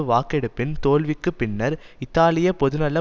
வாக்கெடுப்பின் தோல்விக்கு பின்னர் இத்தாலிய பொதுநல